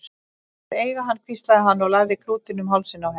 Þú mátt eiga hann hvíslaði hann og lagði klútinn um hálsinn á henni.